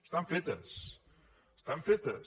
estan fetes estan fetes